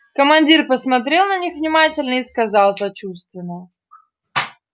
командир посмотрел на них внимательно и сказал сочувственно